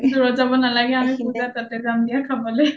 অ দূৰত যাব নালাগে আমি পূজাত তাতে যাম খাবলে